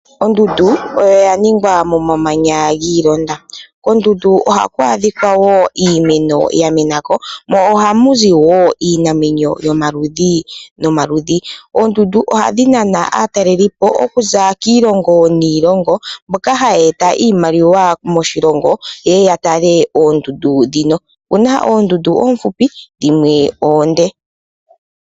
Ondundu oyo ya ningwa momamanya gi ilonda. Kondundu haku adhikwa wo iimeno ya menako, ohamu zi wo iinamwenyo yomaludhi nomaludhi. Oondundu ohadhi nana aatalelipo okuza kiilongo niilongo, mboka haya eta iimaliwa moshilongo ye ye ya tale oondundu dhino. Okuna oondu du oofupi, dhimwe oonde.